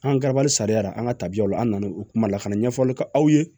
An ka garabali sariya la an ka tabiyaw la an na u kuma la ka na ɲɛfɔli k'aw ye